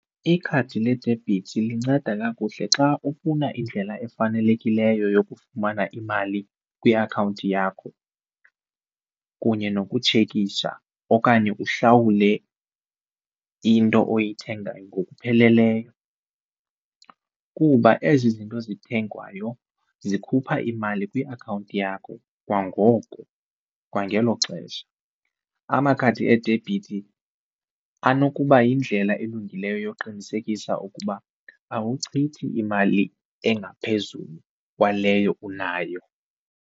Ikhadi ledebhithi linceda kakuhle xa ufuna indlela efanelekileyo yokufumana imali kwiakhawunti yakho kunye nokutshekisha okanye uhlawule into oyithengayo ngokupheleleyo, kuba ezi zinto zithengwayo zikhupha imali kwiakhawunti yakho kwangoko kwangelo xesha. Amakhadi edebhithi anokuba yindlela elungileyo yokuqinisekisa ukuba awuchithi imali engaphezulu kwaleyo unayo.